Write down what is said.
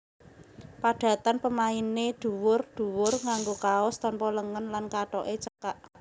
Padatan pemainé dhuwur dhuwur nganggo kaos tanpa lengen lan kathoke cekak